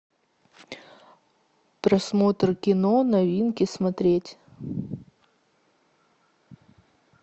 просмотр кино новинки смотреть